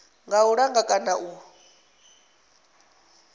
kha u langa kana u